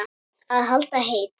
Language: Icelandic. Að halda heit